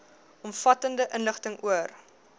omvattende inligting oor